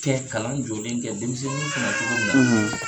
cɛn kalan jɔlen kɛ denmisɛnniw kun na cogo min na.